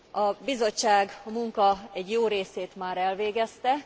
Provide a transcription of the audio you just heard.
A Bizottság a munka egy jó részét már elvégezte.